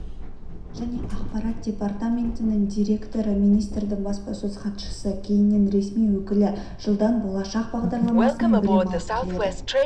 және ақпарат департаментінің директорыминистрдің баспасөз хатшысы кейіннен ресми өкілі жылдан болашақ бағдарламасымен білім алып келеді